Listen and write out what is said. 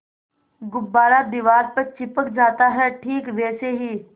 गुब्बारा दीवार पर चिपक जाता है ठीक वैसे ही